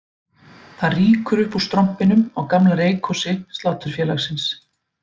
Það rýkur upp úr strompinum á gamla reykhúsi Sláturfélagsins